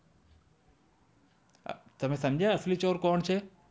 તમે સમજ્યા આસલી ચોર કોણ છે?